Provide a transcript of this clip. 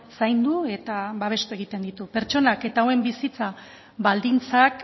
zaindu eta babestu egiten ditu pertsonak eta hauen bizitza baldintzak